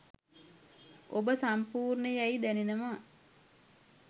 ඔබ සම්පූර්ණ යැයි දැනෙනවා.